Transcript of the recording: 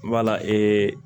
Wala